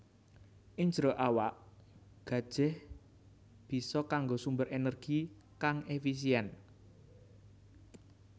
Ing jero awak gajèh bisa kanggo sumber ènèrgi kang èfisièn